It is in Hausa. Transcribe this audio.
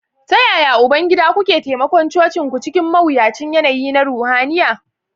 ...Ta yaya, Ubangida, kuke taimakon cocinku cikin mawuyacin yanayi na ruhaniya?